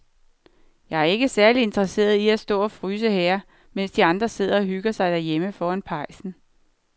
Jeg er ikke særlig interesseret i at stå og fryse her, mens de andre sidder og hygger sig derhjemme foran pejsen.